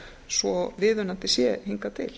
svo viðunandi sé hingað til